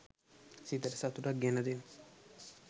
සිතට සතුටක් ගෙන දෙන